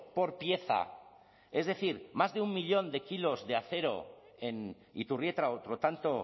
por pieza es decir más de un millón de kilos de acero en iturrieta otro tanto